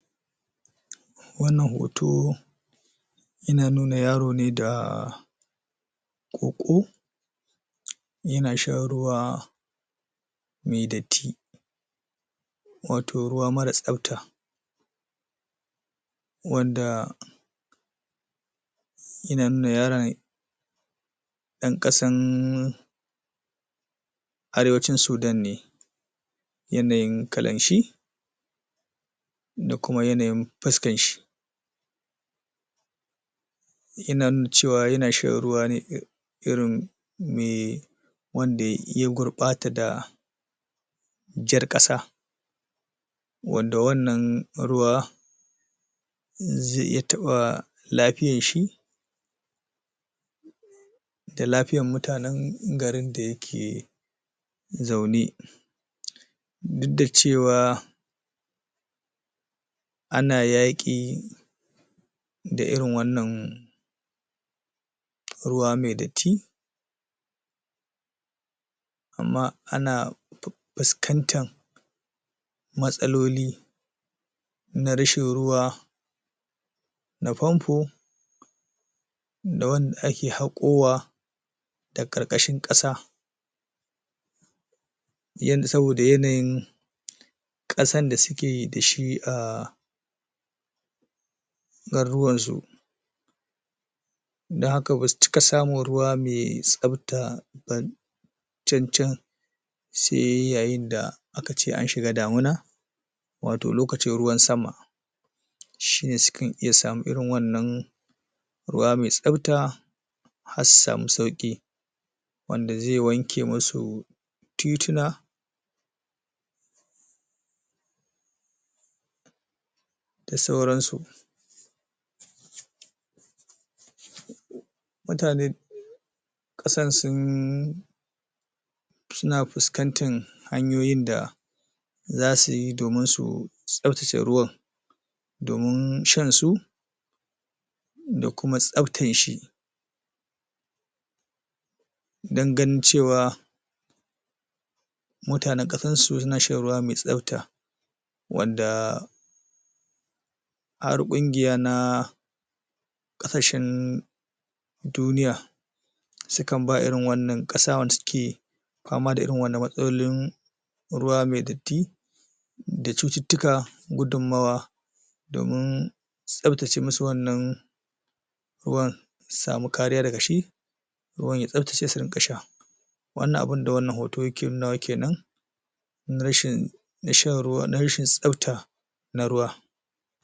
Wannan hoto yana nuna yaro ne da ƙoƙo yana shan ruwa mai datti wato ruwa mara tsafta wanda yana nuna yaron ɗan ƙasan Arewacin Sudan ne yanayin kalan shi da kuma yanayin fuskan shi Yana nuna cewa yana shan ruwa ne irin mai wanda ya gurɓata da jar ƙasa wadda wannan ruwa zai iya taɓa lafiyar shi da lafiyan mutanen garin da yake zaune duk da cewa ana yaƙi da irin wannan ruwa mai datti amma ana fuskantan matsaloli na rashin ruwa na famfo da wanda ake haƙowa da ƙarƙashin ƙasa yand, saboda yanayin ƙasan da suke da shi a garuruwansu don haka ba su cika samun ruwa mai tsafta ba cancan sai yayin da aka ce an shiga damuna wato lokacin ruwan sama shi ne sukan iya samun irin wannan ruwa mai tsafta har su samu sauƙi wanda zai wanke musu tituna da sauransu Mutane ƙasan sun suna fuskantan hanyoyin da za su yi domin su tsaftace ruwan domin shan su da kuma tsaftan shi don ganin cewa mutanen ƙasansu suna shan ruwa mai tsafta wadda har ƙungiya na ƙasashen duniya sukan ba irin wannan ƙasa wanda suke fama da irin wannan matsalolin ruwa mai datti da cututtuka gudunmawa domin tsaftace musu wannan ruwan su samu kariya daga shi ruwan ya tsaftace su ringa sha. Wannan abin da wannan hoto yake nunawa ke nan na rashin shan ruwa, na rashin tsafta na ruwa.